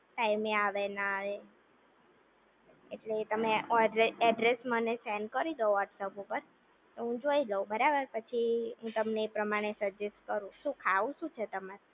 ટાઈમે આવે ના આવે એટલે તમે મને એડ્રૈસ સેન્ડ કરી દો વ્હોટ્સએપ ઉપર તો હું જોઈ લવ બરાબર પછી હું તમને એ પ્રમાણે સજજેસ્ટ કરું શું ખાવું શું છે તમારે